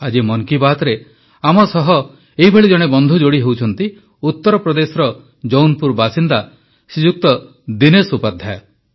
ଆଜି ମନ୍ କି ବାତରେ ଆମ ସହ ଏହିଭଳି ଜଣେ ବନ୍ଧୁ ଯୋଡ଼ି ହେଉଛନ୍ତି ଉତ୍ତର ପ୍ରଦେଶର ଜୌନ୍ପୁର ବାସିନ୍ଦା ଶ୍ରୀଯୁକ୍ତ ଦିନେଶ ଉପାଧ୍ୟାୟ